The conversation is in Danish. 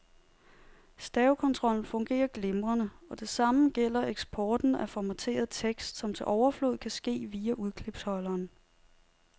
Stavekontrollen fungerer glimrende, og det samme gælder eksporten af formateret tekst, som til overflod kan ske via udklipsholderen.